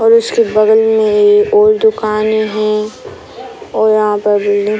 और उसके बगल में ए और दुकाने हैं और यहाँ पे बिल्डिंग --